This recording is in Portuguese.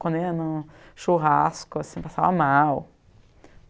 Quando ia no churrasco, assim, passava mal.